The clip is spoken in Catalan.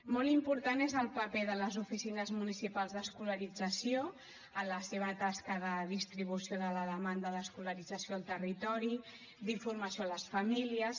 molt important és el paper de les oficines municipals d’escolarització en la seva tasca de distribució de la demanda d’escolarització al territori d’informació a les famílies